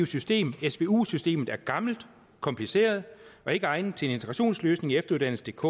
system svu systemet er gammelt kompliceret og ikke egnet til en integrationsløsning i efteruddannelsedk